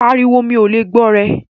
Pàríwọ̀, mi o lè gbọ̀ rẹ̀!